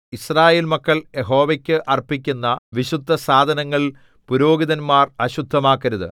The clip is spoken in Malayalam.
യിസ്രായേൽ മക്കൾ യഹോവയ്ക്ക് അർപ്പിക്കുന്ന വിശുദ്ധസാധനങ്ങൾ പുരോഹിതന്മാർ അശുദ്ധമാക്കരുത്